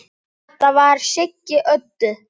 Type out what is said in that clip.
Það var Siggi Öddu.